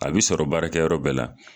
A bi sɔrɔ baarakɛ yɔrɔ bɛɛ la